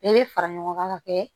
Bɛɛ bɛ fara ɲɔgɔn kan ka kɛ